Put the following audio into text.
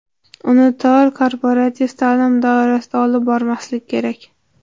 Uni tor korporativ ta’lim doirasida olib bormaslik kerak.